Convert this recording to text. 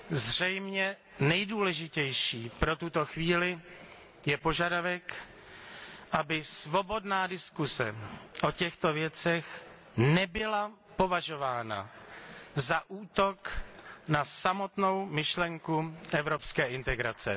Zřejmě nejdůležitější pro tuto chvíli je požadavek, aby svobodná diskuze o těchto věcech nebyla považována za útok na samotnou myšlenku evropské integrace.